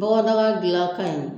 Bɔgɔdaga gila ka ɲi.